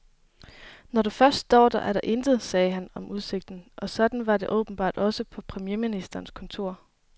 Når du først står der, er der intet, sagde han om udsigten, og sådan var det åbenbart også på premierministerens kontor.